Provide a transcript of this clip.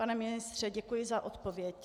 Pane ministře, děkuji za odpověď.